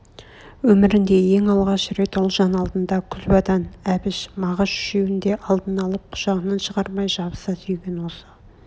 өмрінде ең алғаш рет ұлжан алдында күлбадан әбіш мағаш үшеуін де алдына алып құшағынан шығармай жабыса сүйген осы